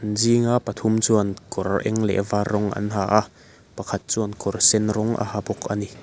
zinga pathum chuan kawr eng leh var rawng an ha a pakhat chuan kawr sen rawng a ha bawk ani.